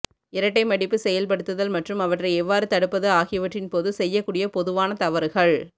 இரட்டை மடிப்பு செயல்படுத்துதல் மற்றும் அவற்றை எவ்வாறு தடுப்பது ஆகியவற்றின் போது செய்யக்கூடிய பொதுவான தவறுகள்